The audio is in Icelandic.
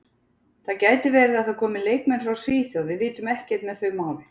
Það gæti verið að það komi leikmenn frá Svíþjóð, við vitum ekkert með þau mál.